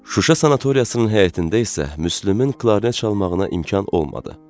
Şuşa sanatoriyasının həyətində isə Müslümün qarmon çalmağına imkan olmadı.